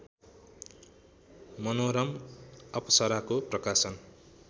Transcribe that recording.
मनोरम अप्सराको प्रकाशन